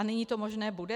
A nyní to možné bude?